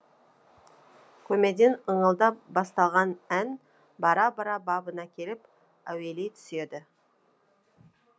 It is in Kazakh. көмейден ыңылдап басталған ән бара бара бабына келіп әуелей түседі